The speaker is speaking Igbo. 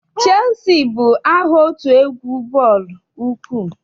Cheelusi bụ aha otu egwu bọọlụ ụkwụ.